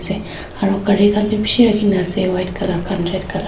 aro ghari khan b bishi raki kena ase white colour khan red colour .